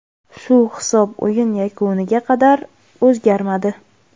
Shu hisob o‘yin yakuniga qadar o‘zgarmadi.